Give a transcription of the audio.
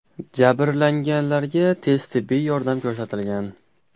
Jabrlanganlarga tez tibbiy yordam ko‘rsatilgan.